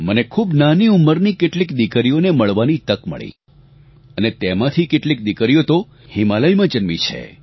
મને ખૂબ નાની ઉંમરની કેટલીક દિકરીઓને મળવાની તક મળી અને તેમાંથી કેટલીક દિકરીઓ તો હિમાલયમાં જન્મી છે